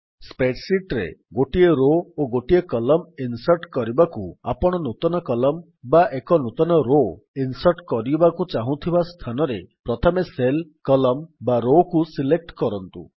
spread sheet ରେ ଗୋଟିଏ row ଓ ଗୋଟିଏ କଲମ୍ ଇନ୍ସର୍ଟ୍ କରିବାକୁ ଆପଣ ନୂତନ କଲମ୍ ବା ଏକ ନୂତନ ରୋ ଇନ୍ସର୍ଟ କରିବାକୁ ଚାହୁଁଥିବା ସ୍ଥାନରେ ପ୍ରଥମେ ସେଲ୍ କଲମ୍ ବା ରୋ କୁ ସିଲେକ୍ଟ୍ କରନ୍ତୁ